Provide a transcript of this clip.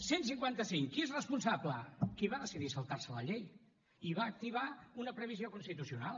cent cinquanta cinc qui n’és responsable qui va decidir saltar se la llei i va activar una previsió constitucional